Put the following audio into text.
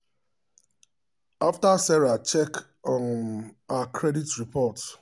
after sarah check um her credit report she adjust her um payment plan to pay off her house loan faster.